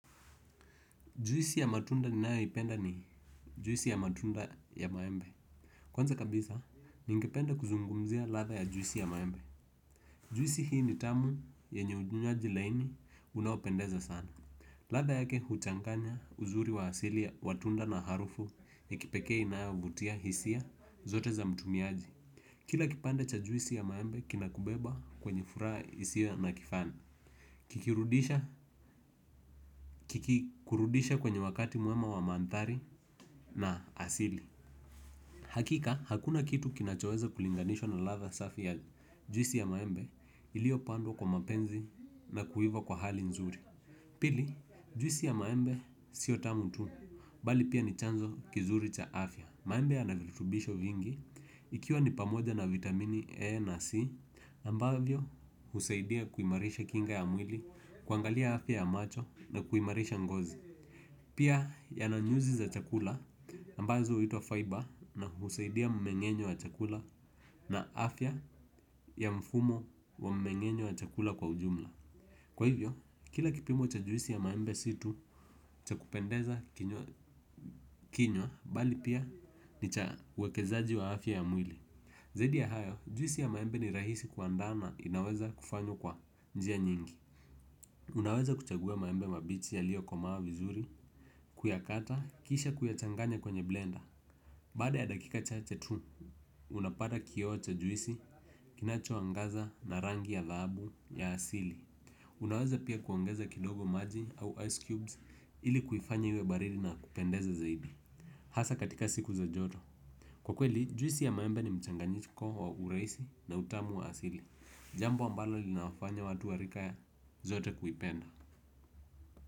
Juisi ya matunda ninayoipenda ni juisi ya matunda ya maembe. Kwanza kabisa, ningependa kuzungumzia ladha ya juisi ya maembe. Juisi hii ni tamu yenye ukunyaji laini unaopendeza sana. Ladha yake huchanganya uzuri wa hasili ya watunda na harufu ni kipekee naa vutia hisia zote za mtumiaji. Kila kipande cha juisi ya maembe kinakibeba kwenye furaha hisia na kifana kikirudisha kikirudisha kwenye wakati mwema wa manthari na asili. Hakika, hakuna kitu kinachoweza kulinganishwa na ladha safi ya juisi ya maembe. Ilio pandwa kwa mapenzi na kuiva kwa hali nzuri. Pili, juisi ya maembe sio tamu tu bali pia ni chanzo kizuri cha afya. Maembe yana viltubisho vingi. Ikiwa ni pamoja na vitamini E na C Ambavyo, husaidia kuimarisha kinga ya mwili kuangalia afya ya macho na kuimarisha ngozi. Pia yana nyuzi za chakula ambazo huitwa Fiber na husaidia mmengenyo wa chakula. Na afya ya mfumo wa mmengenyo wa chakula kwa ujumla. Kwa hivyo, kila kipimo cha juisi ya maembe si tu cha kupendeza kinyo bali pia ni cha wekezaji wa afya ya mwili. Zaidi ya hayo, juisi ya maembe ni rahisi kwa andana. Inaweza kufanyo kwa njia nyingi. Unaweza kuchagua maembe mabichi yalio komaa vizuri. Kuyakata, kisha kuyachanganya kwenye blender. Baade ya dakika chache tu. Unapata kioo cha juisi, kinacho angaza na rangi ya dhahabu ya asili. Unaweza pia kuangeza kuongeza kidogo maji au ice cubes ili kuifanya iwe baridi na kupendeza zaidi. Hasa katika siku za joto. Kwa kweli, juisi ya maembe ni mchanganyiko wa urahisi na utamu wa asili. Jambo ambalo linawafanya watu wa rika ya zote kuipenda.